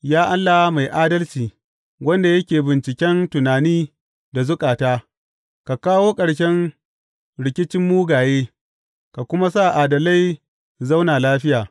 Ya Allah mai adalci, wanda yake binciken tunani da zukata, ka kawo ƙarshen rikicin mugaye ka kuma sa adalai su zauna lafiya.